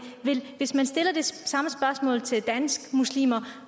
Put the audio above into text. hvis man stiller det samme spørgsmål til danske muslimer